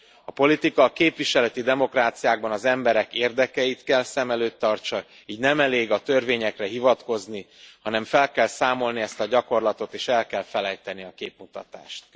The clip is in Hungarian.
A politika a képviseleti demokráciákban az emberek érdekeit kell szem előtt tartsa, így nem elég a törvényekre hivatkozni, hanem fel kell számolni ezt a gyakorlatot, és el kell felejteni a képmutatást.